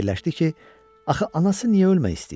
Və fikirləşdi ki, axı anası niyə ölmək istəyir?